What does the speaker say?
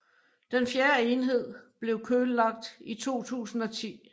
Den fjerde enhed blev køllagt i 2010